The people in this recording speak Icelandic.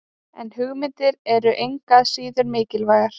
En hugmyndir eru engu að síður mikilvægar.